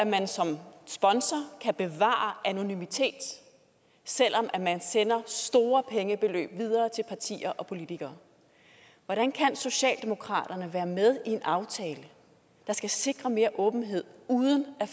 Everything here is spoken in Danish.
man som sponsor kan bevare anonymitet selv om man sender store pengebeløb videre til partier og politikere hvordan kan socialdemokraterne være med i en aftale der skal sikre mere åbenhed uden at